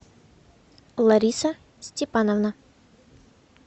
лариса степановна